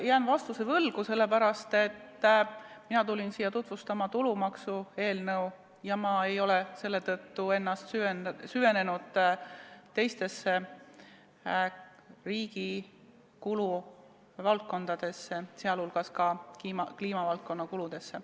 Ma jään vastuse võlgu, sest mina tulin siia tutvustama tulumaksuseaduse eelnõu ja ma ei ole selle tõttu süvenenud teistesse riigi kuluvaldkondadesse, sh kliimavaldkonna kuludesse.